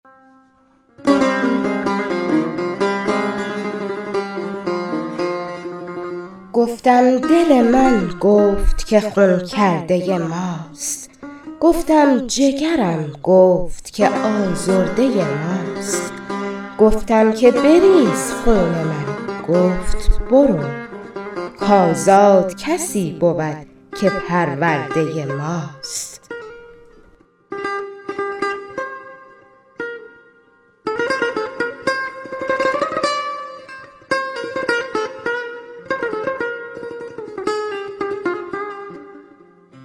گفتم دل من گفت که خون کرده ماست گفتم جگرم گفت که آزرده ماست گفتم که بریز خون من گفت برو کازاد کسی بود که پرورده ماست